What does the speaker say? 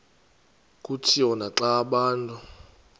kutshiwo naxa abantu